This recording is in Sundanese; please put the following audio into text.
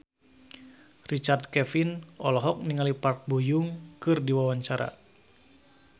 Richard Kevin olohok ningali Park Bo Yung keur diwawancara